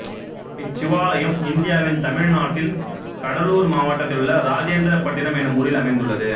இச்சிவாலயம் இந்தியாவின் தமிழ்நாட்டின் கடலூர் மாவட்டத்திலுள்ள இராஜேந்திரபட்டினம் எனும் ஊரில் அமைந்துள்ளது